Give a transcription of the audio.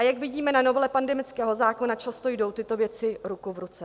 A jak vidíme na novele pandemického zákona, často jdou tyto věci ruku v ruce.